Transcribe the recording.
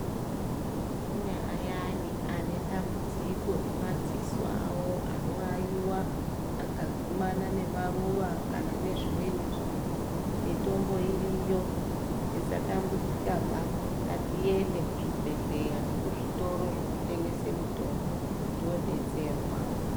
Kune ayani ane dambudziko remadziso awo anowaiwa akagumana nemaruwa kana nezvimweni zviro mitombo iriyo tisatambudzika ba ngatiende kuzvibhedhleya nekuzvitoro zvinotengese mitombo todetserwa.